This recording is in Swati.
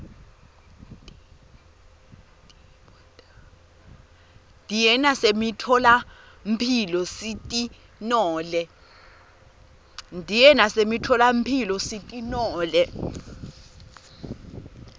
diye nasemitfola mphilo sitinole